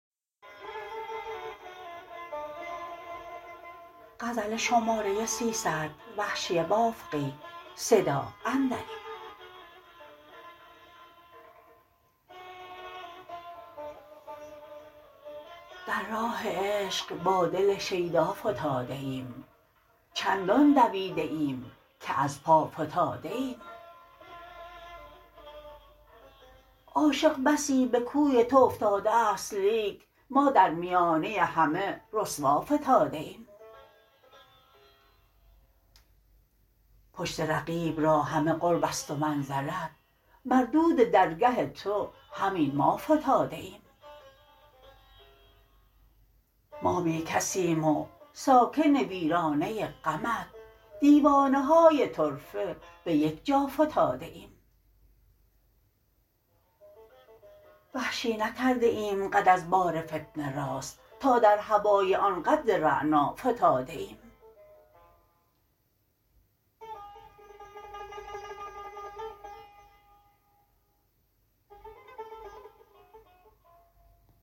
در راه عشق با دل شیدا فتاده ایم چندان دویده ایم که از پا فتاده ایم عاشق بسی به کوی تو افتاده است لیک ما در میانه همه رسوا فتاده ایم پشت رقیب را همه قربست و منزلت مردود درگه تو همین ما فتاده ایم ما بیکسیم و ساکن ویرانه غمت دیوانه های طرفه به یک جا فتاده ایم وحشی نکرده ایم قد از بار فتنه راست تا در هوای آن قد رعنا فتاده ایم